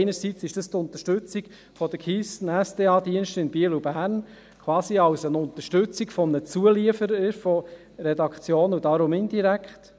Erstens ist es die Unterstützung der Keystone-/SDA-Dienste in Biel und Bern, quasi als Unterstützung eines Zulieferers von Redaktionen, daher indirekt;